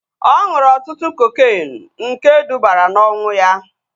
Ọ ṅụrụ ọtụtụ kokeenu nke dubara na ọnwụ ya